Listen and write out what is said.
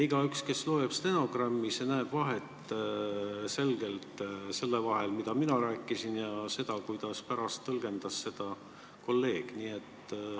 Igaüks, kes loeb stenogrammi, näeb selget vahet selle vahel, mida mina rääkisin, ja kuidas seda tõlgendas kolleeg.